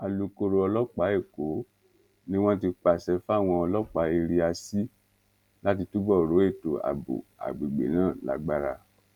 alūkkóró ọlọpàá èkó ni wọn ti pàṣẹ fáwọn ọlọpàá area c láti túbọ rọ ètò ààbò àgbègbè náà lágbára